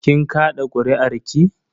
Kin kaɗa kuri'arki?